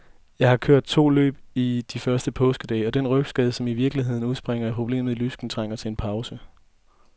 Jeg har kørt to løb i de første påskedage, og den rygskade, som i virkeligheden udspringer af problemer i lysken, trængte til en pause.